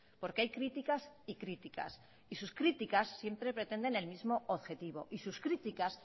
porque hay críticas y críticas y sus críticas siempre pretenden el mismo objetivo y sus críticas